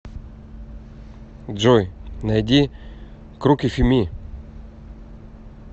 джой найди крукифи ми